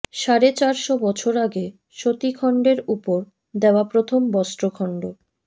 সাড়ে চারশ বছর আগে সতীখণ্ডের ওপর দেওয়া প্রথম বস্ত্রখণ্ড